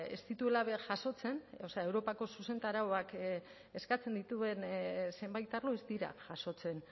ez dituela jasotzen o sea europako zuzentarauak eskatzen dituen zenbait arlo ez dira jasotzen